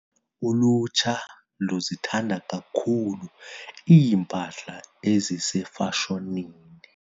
Ulutsha luzithanda kakhulu iimpahla ezisefashonini.